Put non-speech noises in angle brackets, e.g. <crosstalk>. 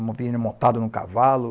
<unintelligible> montado no cavalo.